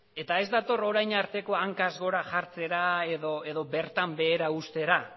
eta ez dator orain artekoa hankaz gora jartzera edo bertan behera ustera